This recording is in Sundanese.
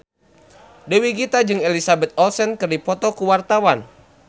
Dewi Gita jeung Elizabeth Olsen keur dipoto ku wartawan